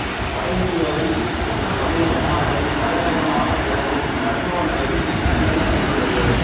வடஇந்தியாவில் உத்தரப்பிரதே மாநிலத்தின் தலைநகரமாக விளங்கும் லக்னோ நகரில் இக்கல்லறை அமைந்துள்ளது